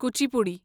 Kuchipudi